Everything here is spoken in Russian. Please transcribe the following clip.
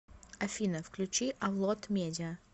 афина включи авлод медиа